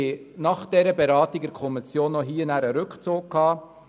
Nach der Beratung in der Kommission wurde der entsprechende Antrag zurückgezogen.